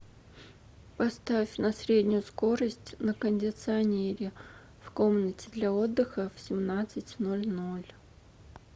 поставь на среднюю скорость на кондиционере в комнате для отдыха в семнадцать ноль ноль